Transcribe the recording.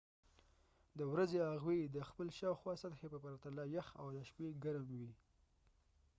د ورځې هغوۍ د خپل شاوخوا سطحې په پرتله یخ او د شپې ګرم وي